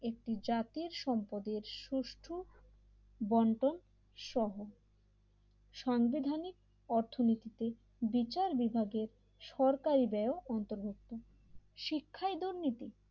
একটি জাতির সম্পদের সুষ্ঠ বন্টন সহ সাংবিধানিক অর্থনীতিতে বিচার বিভাগের সরকারি ব্যয়ও অন্তর্ভুক্ত শিক্ষায় দুর্নীতি